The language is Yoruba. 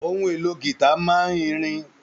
Ohun èlò gita máa n ìrìn.